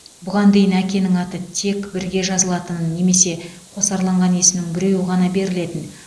бұған дейін әкенің аты тек бірге жазылатын немесе қосарланған есімнің біреуі ғана берілетін